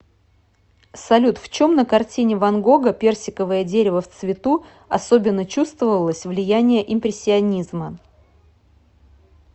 салют в чем на картине ван гога персиковое дерево в цвету особенно чувствовалось влияние импрессионизма